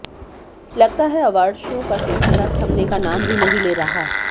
लगता है award show का सिलिसिला थमने का नाम हीं नहीं ले रहा